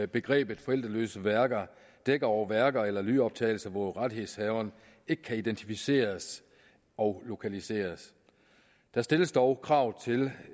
begrebet forældreløse værker dækker over værker eller lydoptagelser hvor rettighedshaveren ikke kan identificeres og lokaliseres der stilles dog krav til